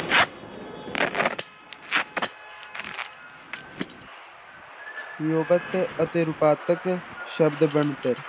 ਅਤੇ ਰੂਪਾਂਤਕ ਸ਼ਬਦ ਬਣਤਰ